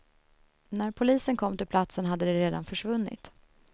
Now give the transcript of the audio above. När polisen kom till platsen hade de redan försvunnit.